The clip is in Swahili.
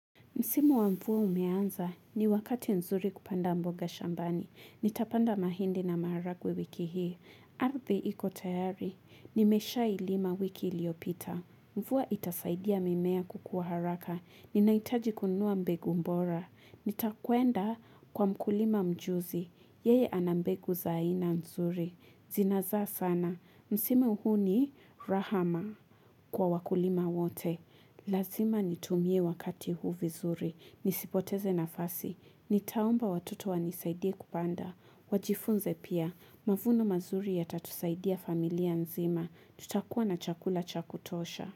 Msimu wa mvua umeanza ni wakati nzuri kupanda mboga shambani. Nitapanda mahindi na maharagwe wiki hii. Arthi iko tayari. Nimeshailima wiki iliopita. Mfua itasaidia mimea kukua haraka. Ninaitaji kunua mbegu mbora. Nitakuenda kwa mkulima mjuzi. Yeye anambegu zaayina nzuri. Zinaza sana. Msimu huu ni rahama kwa wakulima wote. Lazima nitumie wakati huu vizuri, nisipoteze nafasi, nitaomba watoto wani saidiye kupanda, wajifunze pia, mavunu mazuri ya tatusaidia familia nzima, tutakuwa na chakula cha kutosha.